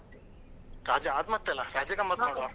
ರಜೆ ಆದ್ ಮತ್ತೆ ಅಲಾ ರಜೆ ಗಮ್ಮತ್ತು ಮಾಡ್ವಾ.